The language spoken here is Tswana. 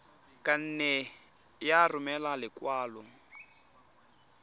ka nne ya romela lekwalo